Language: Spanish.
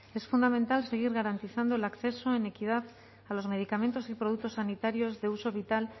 es fundamental seguir garantizando el acceso en equidad a los medicamentos y productos sanitarios de uso vital